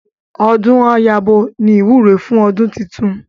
Ọdún á yabo ni ìwúre fún ọdún titun